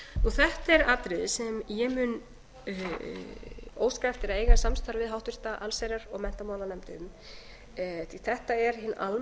þetta er atriði sem ég mun óska eftir að eiga samstarf við háttvirt allsherjar og menntamálanefnd um því að þetta er hin